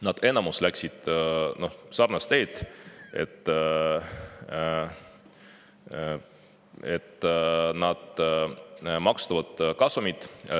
Enamik neist on läinud sellist teed, et nad maksustavad kasumit.